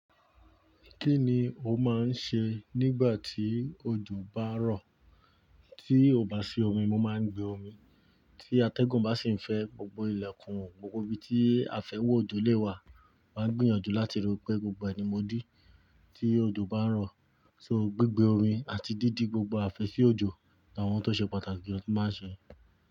Kí ni o máa ń ṣe nígbà tí ojò bá ń rọ̀? Tí ò bá sí omi, mo máa ń gbe omi. Tí atẹ́gùn bá sì ń fẹ́, gbogbo ilẹ̀kùn, gbogbo ibi tí afẹ́wọ̀ ojò lè wà, màá ń gbìyànjú láti rọ́pẹ́. Gbogbo ẹni mo dí. Tí ojò bá ń rọ̀, so gbígbẹ omi àti dídi gbogbo afẹ́sí ojò làwọn tó ṣe pàtàkì ló máa ń ṣe.